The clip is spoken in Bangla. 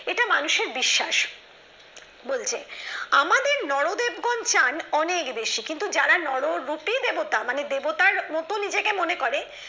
এটা মানুষের বিশ্বাস বলছে আমাদের নরদেব গণ চান অনেক বেশি কিন্তু যারা নর রূপী দেবতা মানে দেবতার মত নিজেকে মনে করে